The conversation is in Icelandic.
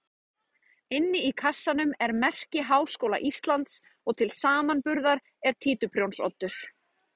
Inni í kassanum er merki Háskóla Íslands og til samanburðar er títuprjónsoddur.